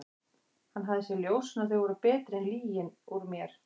Hann hafði séð ljósin og þau voru betri en lygin úr mér.